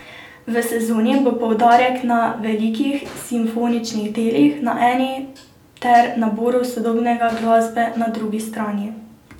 V sezoni bo poudarek na velikih simfoničnih delih na eni ter naboru sodobne glasbe na drugi strani.